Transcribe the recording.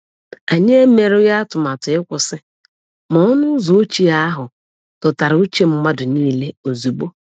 Anyị emerughị atụmatụ ịkwụsị, ma ọnụ ụzọ ochie ahụ dọtara uche mmadụ nile ozugbo.